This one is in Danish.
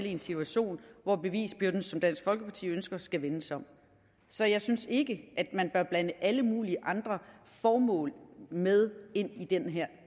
i en situation hvor bevisbyrden som dansk folkeparti ønsker skal vendes om så jeg synes ikke man bør blande alle mulige andre formål med ind i den her